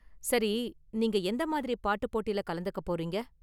சரி, நீங்க எந்த மாதிரி பாட்டு போட்டில கலந்துக்க போறீங்க?